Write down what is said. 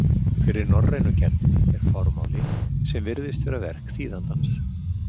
Fyrir norrænu gerðinni er formáli sem virðist vera verk þýðandans.